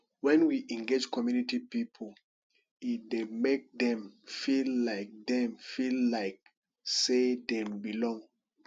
when we engage community pipo e dey make dem feel like dem feel like sey dem belong